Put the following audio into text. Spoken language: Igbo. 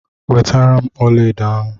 wetaram ọlaedo ahu!